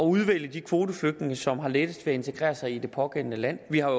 udvælge de kvoteflygtninge som har lettest ved at integrere sig i det pågældende land vi har